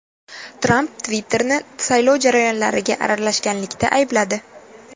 Tramp Twitter’ni saylov jarayonlariga aralashganlikda aybladi.